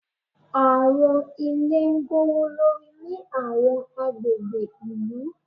Àwọn ilé gbówólórí ní àwọn agbègbè ìlú.